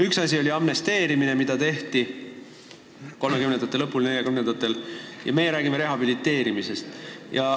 Üks asi oli amnestia, mis kuulutati välja 1930-ndate lõpul ja 1940-ndatel, meie räägime rehabiliteerimisest.